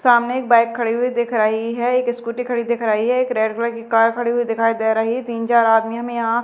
सामने एक बाइक खड़ी हुई दिख रही है एक स्कूटी खडी दिख रही है एक रेड कलर की कार खड़ी हुई दिखाई दे रही तीन चार आदमी हमें यहां--